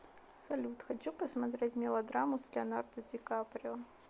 салют хочу посмотреть мелодраму с леонардо ди каприо